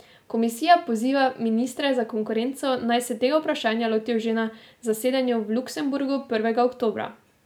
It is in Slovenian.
Komisija poziva ministre za konkurenco, naj se tega vprašanja lotijo že na zasedanju v Luksemburgu prvega oktobra.